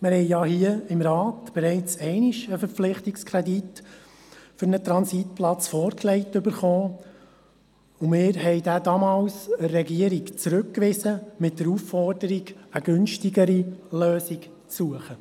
Es wurde uns ja hier im Rat bereits einmal ein Verpflichtungskredit für einen Transitplatz vorgelegt, und wir wiesen diesen damals an die Regierung zurück, mit der Aufforderung, eine günstigere Lösung zu suchen.